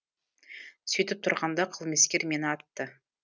сөйтіп тұрғанда қылмыскер мені атты